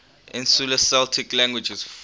insular celtic languages